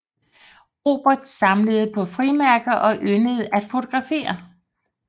Robert samlede på frimærker og yndede at fotografere